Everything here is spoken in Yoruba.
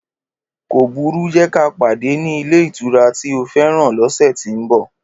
Kóbùrú, jẹ kà padẹ ni ilé ìtura tí ó fẹ́ràn lóṣe tí mbo